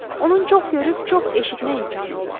Onun çox görüb, çox eşitmək imkanı olub.